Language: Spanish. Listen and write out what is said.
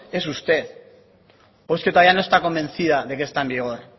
es usted o es que todavía no está convencida de que está en vigor